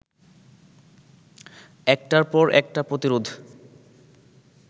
একটার পর একটা প্রতিরোধ